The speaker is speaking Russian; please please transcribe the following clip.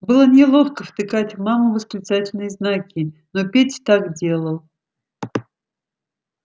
было неловко втыкать в маму восклицательные знаки но петя так делал